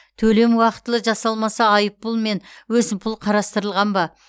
төлем уақытылы жасалмаса айыппұл мен өсімпұл қарастырылған ба